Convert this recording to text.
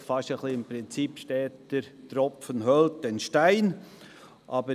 Vielleicht fast ein bisschen nach dem Prinzip «Steter Tropfen höhlt den Stein».